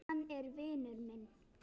Hann er vinur minn